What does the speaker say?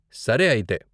సరే అయితే.